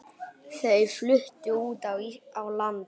Þau fluttu út á land.